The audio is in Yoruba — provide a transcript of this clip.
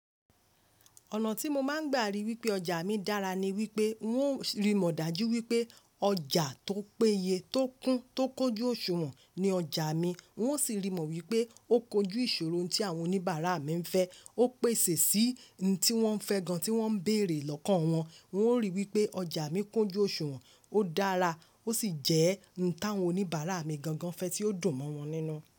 Ọ̀nà tí mo máa ń gbà rí wípé ọjà mi dára ni wípé ng o rí mọ̀ dájú wípé ọjà tó péye, tó kún, tó kójú òṣùwọ̀n ni ọjà mi. Ng ò sì rí mọ wípé ó kojú ìṣòro tí àwọn oníbàárà mi ń fẹ́. Ó pèsè sí i òun tí wọ́n ń fẹ́ gan tí wọ́n ń bèrè lọ́kàn wọn. Ng o ríi wípé ọjà mi kójú òṣùwọ̀n, ó dára, ó sì jẹ́ ohun táwọn oníbàárà mi gangan fẹ́ tí ó dùn mọ́ wọn nínú.